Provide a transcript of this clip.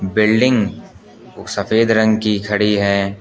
Building सफेद रंग की खड़ी है।